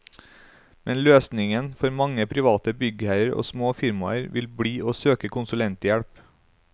Men løsningen for mange private byggherrer og små firmaer vil bli å søke konsulenthjelp.